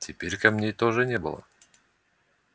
теперь камней тоже не было